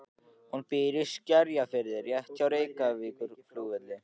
Hún býr í Skerjafirði rétt hjá Reykjavíkurflugvelli.